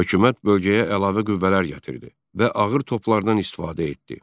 Hökumət bölgəyə əlavə qüvvələr gətirdi və ağır toplardan istifadə etdi.